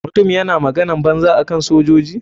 Mutumin yana maganan banza akan sojoji.